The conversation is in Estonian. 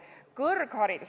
Kõrgharidus.